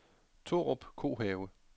Torup Kohave